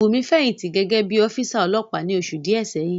Bùnmi fẹ̀yìntì gẹ́gẹ́ bí ọ́físà ọlọ́pàá ní oṣù díẹ̀ sẹ́yìn